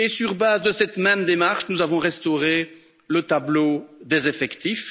Et sur base de cette même démarche, nous avons restauré le tableau des effectifs.